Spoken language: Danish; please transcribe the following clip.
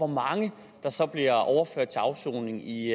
mange der så bliver overført til afsoning i